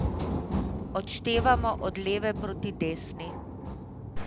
Odštevamo od leve proti desni.